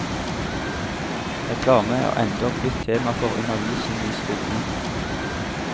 Reklame er endog blitt tema for undervisning i skolen.